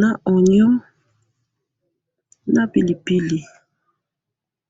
na oignon na pilipili